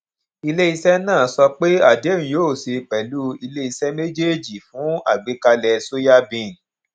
ilé iṣé náà sọ pé adéhùn yóò ṣe pèlú ilé iṣé méjèèjì fún àgbékalè soyabean